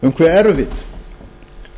um hve erfið